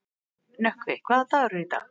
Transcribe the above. Nökkvi, hvaða dagur er í dag?